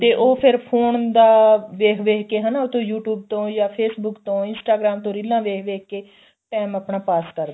ਤੇ ਉਹ ਫ਼ਿਰ phone ਦਾ ਵੇਖ ਵੇਖ ਕੇ ਹਨਾ ਉਹ ਤੋਂ you tube ਤੋਂ face book ਤੋਂ Instagram ਤੋਂ ਰੀਲਾਂ ਵੇਖ ਵੇਖ ਕੇ time ਆਪਣਾ ਪਾਸ ਕਰਦੇ